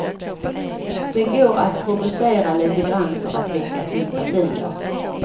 Det går att provocera lite grann för att väcka sympatier.